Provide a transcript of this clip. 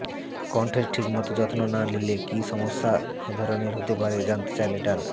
কণ্ঠের ঠিকমতো যত্ম না নিলে কী ধরনের সমস্যা হতে পারে জানতে চাইলে ডা